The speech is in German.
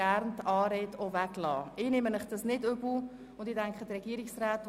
Aus zeitlichen Gründen dürfen Sie die Anrede jeweils weglassen.